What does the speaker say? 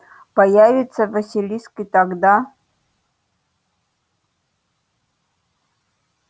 появится василиск и тогда